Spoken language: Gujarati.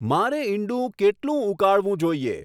મારે ઈંડું કેટલું ઉકાળવું જોઈએ